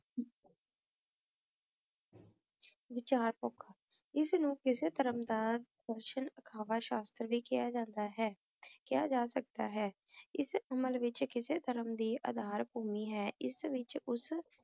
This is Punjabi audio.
ਵਿਚਾਰ ਏਸ ਨੂ ਕਿਸੇ ਧਰਮ ਦਾ ਪੁਰਸ਼ਾਂ ਅਖਵਾ ਸ਼ਾਸ਼ਤਰ ਵੀ ਕਹ ਜਾਂਦਾ ਆਯ ਕੇਹਾ ਜਾ ਸਕਦਾ ਹੈ ਏਸ ਅਮਲ ਵਿਚ ਕਿਸੇ ਧਰਮ ਅਧਾਰ ਭੂਮੀ ਹੈ ਏਸ ਵਿਚ ਓਸ